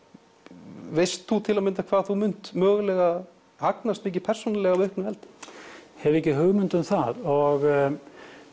veist þú hvað þú munt mögulega hagnast mikið persónulega af auknu eldi hef ekki hugmynd um það og